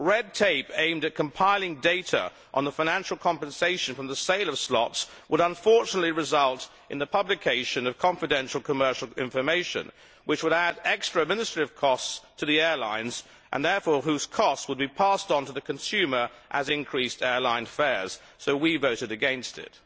Red tape aimed at compiling data on the financial compensation from the sale of slots would unfortunately result in the publication of confidential commercial information, which would add extra administrative costs to the airlines and therefore those costs would be passed onto the consumer as increased airline fares, so we voted against it.